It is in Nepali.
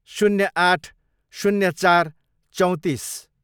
शून्य आठ, शून्य चार, चौँतिस